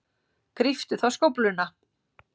Gríptu þá skófluna.